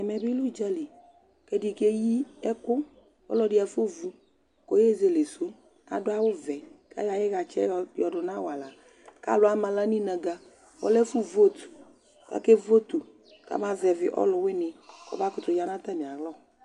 Ɛmɛ bɩ lɛ ʋdza li kʋ ɛdɩ keyi ɛkʋ Ɔlɔdɩ afɔvu kʋ ɔyezele sʋ Adʋ awʋvɛ kʋ ayɔ ayʋ ɩɣatsɛ yɛ yɔdʋ nʋ awala kʋ alʋ ama aɣla nʋ inǝgǝ Ɔlɛ ɛfʋ vote kʋ akevotu kamazɛvɩ ɔlʋwɩnɩ kɔmakʋtʋ ya nʋ atamɩalɔ